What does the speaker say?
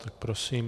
Tak, prosím.